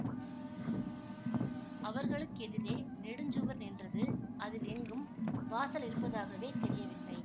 அவர்களுக்கெதிரே நெடுஞ்சுவர் நின்றது அதில் எங்கும் வாசல் இருப்பதாகவே தெரியவில்லை